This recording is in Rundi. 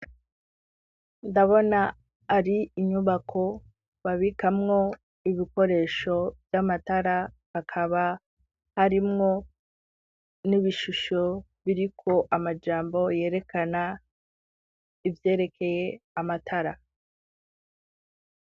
Ndabona ari inyubako babikamwo ibikoresho vy'amatara, akaba harimwo n'ibishusho biriko amajambo yerekana ivyerekeye amatara.